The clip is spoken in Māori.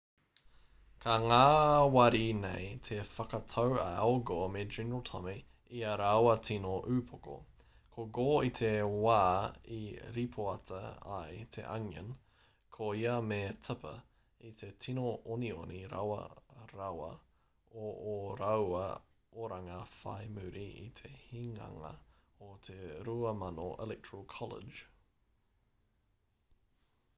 ka ngāwari nei te whakatau a al gore me general tommy i ā rāua tino upoko ko gore i te wā i ripoata ai te onion ko ia me tipper i te tīno onioni rawe rawa o ō rāua oranga whai muri i te hinganga o te 2000 electoral college